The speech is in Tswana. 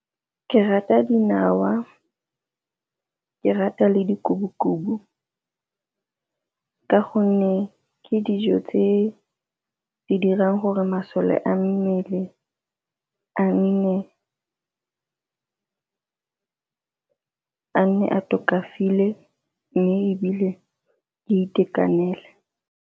Ke rata dinawa, ke rata le di ka gonne ke dijo tse di dirang gore masole a mmele a nne a tokafaditswe mme ebile di itekanele.